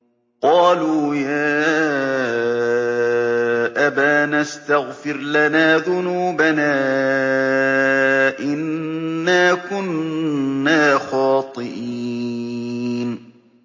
قَالُوا يَا أَبَانَا اسْتَغْفِرْ لَنَا ذُنُوبَنَا إِنَّا كُنَّا خَاطِئِينَ